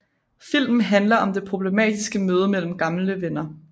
Filmen handler om det problematiske møde mellem gamle venner